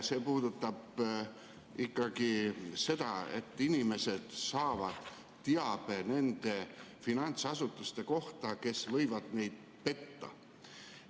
See puudutab ikkagi seda, et inimesed saavad teabe selliste finantsasutuste kohta, kes võivad neid petta.